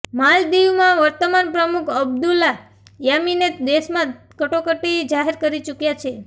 માલદીવમાં વર્તમાન પ્રમુખ અબદુલ્લા યામીન દેશમાં કટોકટી જાહેર કરી ચૂક્યા છે